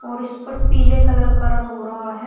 और इस पर पीले कलर का रंग हो रहा है।